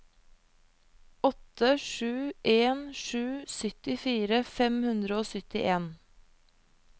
åtte sju en sju syttifire fem hundre og syttien